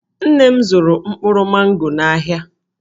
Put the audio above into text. Nne m zụrụ mkpụrụ mango n'ahịa.